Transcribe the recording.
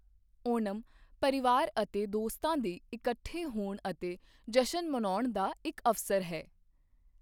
ਓਣਮ ਪਰਿਵਾਰ ਅਤੇ ਦੋਸਤਾਂ ਦੇ ਇਕੱਠੇ ਹੋਣ ਅਤੇ ਜਸ਼ਨ ਮਨਾਉਣ ਦਾ ਇੱਕ ਅਵਸਰ ਹੈ।